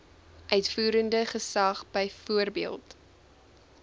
uitvoerende gesag byvoorbeeld